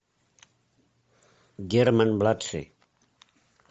герман младший